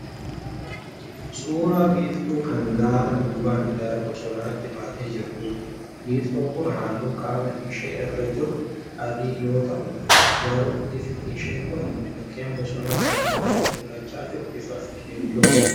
Suuraa biiftuu kan gaara duubaan gara bosonaatti baatee jirtuudha. Biiftuun kun halluun qaama ishee irra jiru adii yoo ta'u garuu ifni ishee kan mukeen bosonaa kana irratti mul'achaa jiru bifa keelloodha.